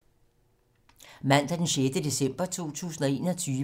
Mandag d. 6. december 2021